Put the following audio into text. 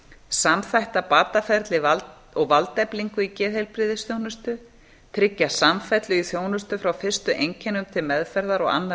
samþætta bataferli og valdeflingu í geðheilbrigðisþjónustu tryggja samfellu í þjónustu frá fyrstu einkennum til meðferðar og annarra